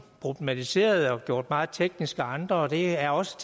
problematiseret og gjort meget teknisk af andre og det er også